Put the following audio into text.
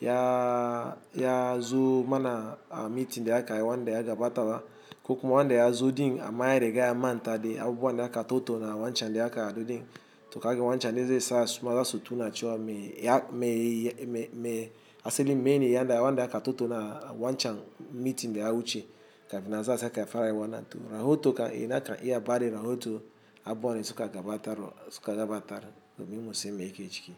ya ya zu mana a mitin da aka ai wanda ya gabata ba. Kukuma wanda ya zu din a maye de gya manta de abuwa nda aka totu na wanchadi aka du din. To kagen wanchadi ze sa suma za su tuna chiwa me ya me me asali me ni ya nda wanda aka totu na wanchan mitin da ya wuche kafina za sa aka fara ai wana. To rahoto ka ina ka iya badi rahoto abuwa ne suka gabatar suka gabatar be mu musu me ike ciki.